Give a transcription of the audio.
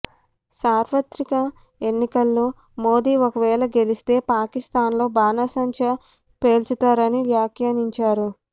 సార్వత్రిక ఎన్నికల్లో మోదీ ఒకవేళ గెలిస్తే పాకిస్తాన్లో బాణసంచా పేల్చుతారని వ్యాఖ్యానించారు